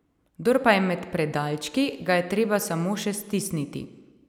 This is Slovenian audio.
Kdor pa je med predalčki, ga je treba samo še stisniti.